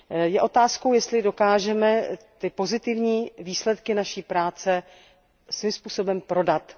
Je otázkou, jestli dokážeme ty pozitivní výsledky naší práce svým způsobem prodat.